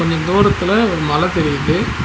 இங் தூரத்துல ஒரு மல தெரியிது.